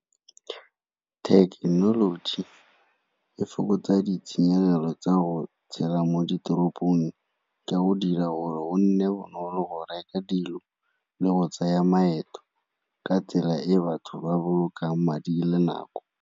Thekenoloji e fokotsa ditshenyegelo tsa go tshela mo diteropong, ka go dira o nne bonolo go reka dilo le go tsaya maeto ka tsela e batho ba bolokang madi le nako.